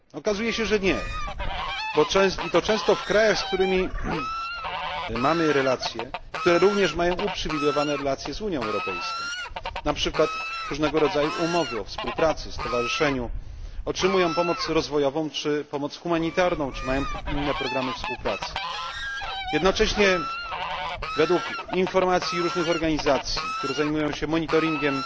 Okazuje się, że nie i to często w krajach, z którymi mamy relacje, które również mają uprzywilejowane relacje z Unią Europejską, np. na mocy różnego rodzaju umów o współpracy, stowarzyszeniu, a także w krajach, które otrzymują pomoc rozwojową, czy pomoc humanitarną, czy mają inne programy współpracy. Jednocześnie według informacji różnych organizacji, które zajmują się monitoringiem